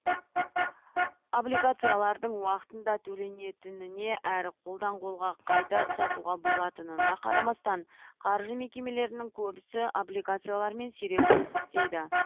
облигациялардың уақытында төленетініне әрі қолдан қолға қайта сатуға болатынына қарамастан қаржы мекемелерінің көбісі облигациялармен сирек жұмыс істейді